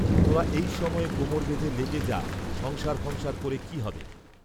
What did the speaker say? তোরা এই সময়ে কোমর বেঁধে লেগে যা, সংসার ফংসার করে কি হবে